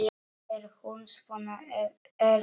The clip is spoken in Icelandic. Er hún svona erfið?